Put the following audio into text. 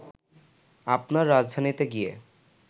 আপনার রাজধানীতে গিয়ে